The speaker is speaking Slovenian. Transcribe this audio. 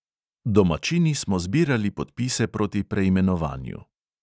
Domačini smo zbirali podpise proti preimenovanju.